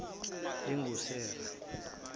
lingusera